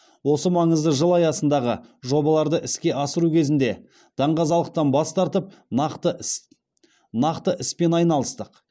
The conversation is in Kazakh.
осы маңызды жыл аясындағы жобаларды іске асыру кезінде даңғазалықтан бас тартып нақты іспен айналыстық